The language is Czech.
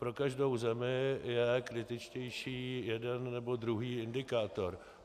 Pro každou zemi je kritičtější jeden nebo druhý indikátor.